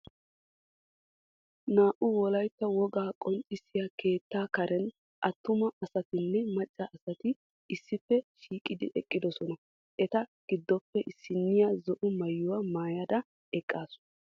Naa"u wolaytta wogaa qonccissiya keettaa karen attuma asatinne macca asati issippe shiiqidi eqqidosona. Eta giddoppe issiniya zo"o maayuwa maayada eqaasu.